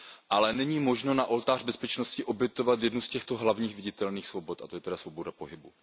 Ale není možno na oltář bezpečnosti obětovat jednu z těchto hlavních viditelných svobod, a to je tedy svoboda pohybu.